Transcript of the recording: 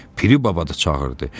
Piri baba da çağırdı.